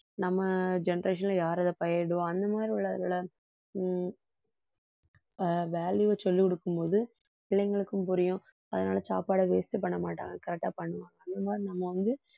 நம்ம generation ல யார் அதை பயிரிடுவா, அந்த மாதிரி உள்ளவர்களை உம் ஆஹ் value அ சொல்லிக் கொடுக்கும்போது பிள்ளைகளுக்கும் புரியும் அதனால சாப்பாடை waste பண்ண மாட்டாங்க correct ஆ பண்ணுவாங்க அந்த மாதிரி நம்ம வந்து